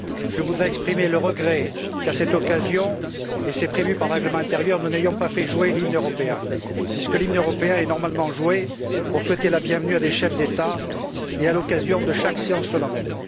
Je voudrais exprimer le regret qu'à cette occasion et c'est prévu par le règlement intérieur nous n'ayons pas fait jouer l'hymne européen, puisque l'hymne européen est normalement joué pour souhaiter la bienvenue à des chefs d'État et à l'occasion de chaque séance solennelle.